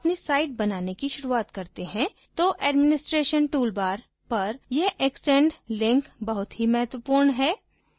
जब हम अपनी site बनाने की शुरूआत करते है तो administration toolbar पर यह extend link बहुत ही महत्वपूर्ण है